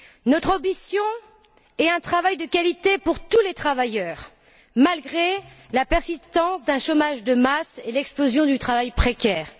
Notre ambition est un travail de qualité pour tous les travailleurs, malgré la persistance d'un chômage de masse et l'explosion du travail précaire.